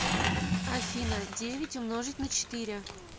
афина девять умножить на четыре